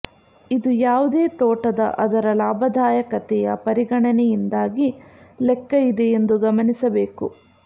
ಇದು ಯಾವುದೇ ತೋಟದ ಅದರ ಲಾಭದಾಯಕತೆಯ ಪರಿಗಣನೆಯಿಂದಾಗಿ ಲೆಕ್ಕ ಇದೆ ಎಂದು ಗಮನಿಸಬೇಕು